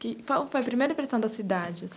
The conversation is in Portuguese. Qual foi a primeira impressão da cidadea